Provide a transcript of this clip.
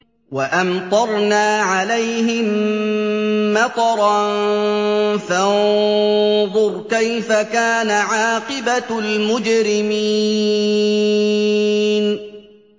وَأَمْطَرْنَا عَلَيْهِم مَّطَرًا ۖ فَانظُرْ كَيْفَ كَانَ عَاقِبَةُ الْمُجْرِمِينَ